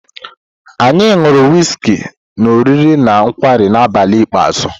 Anyị ṅụrụ wịzkị na oriri na nkwarị na abalị ikpeazụ.